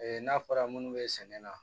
n'a fɔra munnu be sɛnɛ na